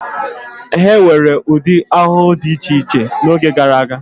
E nwere ụdị ahụhụ dị iche iche n'oge gara aga.